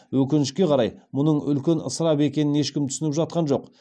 өкінішке қарай мұның үлкен ысырап екенін ешкім түсініп жатқан жоқ